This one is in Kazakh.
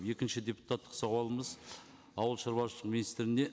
екінші депутаттық сауалымыз ауылшаруашылық министріне